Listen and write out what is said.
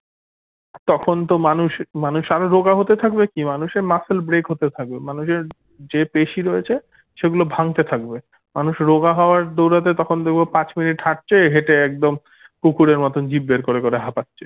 তখনতো মানুষ মানুষ আরো রোগা হতে থাকবে কি মানুষের muscle break হতে থাকবে মানুষের যে পেশী রয়েছে সেগুলো ভাঙতে থাকবে মানুষ রোগা হওয়ার দৌড়াতে তখন দেখবো পাঁচ minute হাটছে হেটে একদম কুকুরের মতো জীব বের করে করে হাপাচ্ছে